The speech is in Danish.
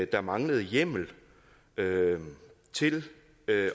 der manglede hjemmel til